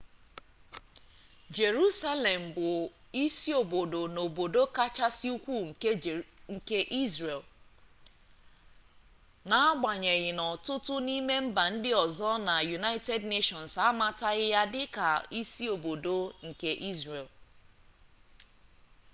jerusalem bụ isiobodo na obodo kachasị ukwu nke israel n'agbanyeghị na ọtụtụ n'ime mba ndị ọzọ na united nations amataghị ya dị ka isiobodo nke israel